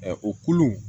o kulu